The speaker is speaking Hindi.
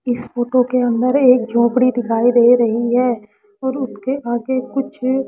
इस फोटो के अंदर एक झोपड़ी दिखाई दे रही है और उसके आगे कुछ--